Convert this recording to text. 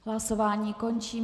Hlasování končím.